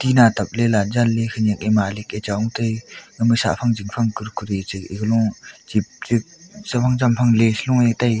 tina tap lela janley khenyak e malik e chong te ama sahphang jingphang kurkure che egalo chip chip chaphang champhang lays loe tega.